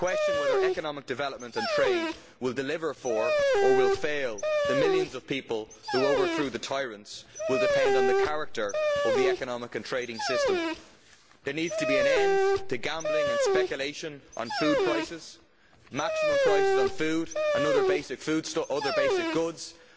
Whether economic development and trade will deliver for, or will fail, the millions of people who overthrew the tyrants will depend on the nature of the economic and trading system. There needs to be an end to gambling and speculation on food prices, maximum prices on food and other basic goods, and